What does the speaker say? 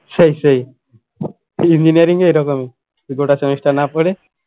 সেই সেই engineering এ এরকমই গোটা semester না পরে